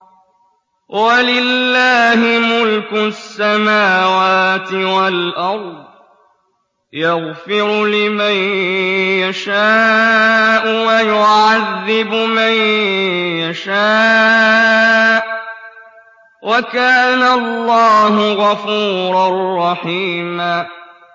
وَلِلَّهِ مُلْكُ السَّمَاوَاتِ وَالْأَرْضِ ۚ يَغْفِرُ لِمَن يَشَاءُ وَيُعَذِّبُ مَن يَشَاءُ ۚ وَكَانَ اللَّهُ غَفُورًا رَّحِيمًا